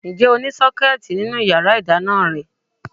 Ǹjẹ́ o ní Sọ́kẹ́tì nínú yàrá ìdáná rẹ?